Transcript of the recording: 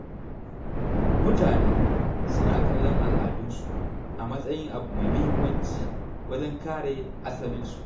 Mutane suna kallon al’adunsu a matsayin abu mai muhimmanci wajen kare asalin su.